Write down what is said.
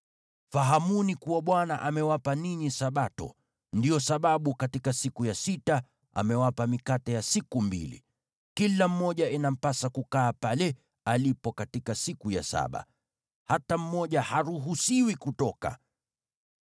Fahamuni kuwa Bwana amewapa ninyi Sabato, ndiyo sababu katika siku ya sita amewapa mikate ya siku mbili. Kila mmoja inampasa kukaa pale alipo katika siku ya saba. Hata mmoja haruhusiwi kutoka.”